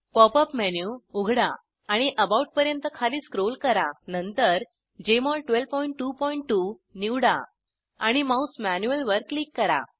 pop up menu उघडा आणि about पर्यंत खाली स्क्रोल करा नंतर जेएमओल 1222 निवडा आणि माउस मॅन्युअल वर क्लिक करा